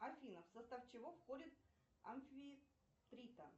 афина в состав чего входит амфитрита